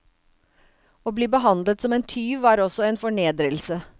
Å bli behandlet som en tyv var også en fornedrelse.